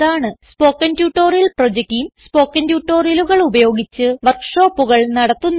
spoken tutorial project team spoken ട്യൂട്ടോറിയലുകൾ ഉപയോഗിച്ച് വർക്ക് ഷോപ്പുകൾ നടത്തുന്നു